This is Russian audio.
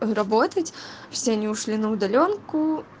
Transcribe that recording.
он работать все они ушли на удаленку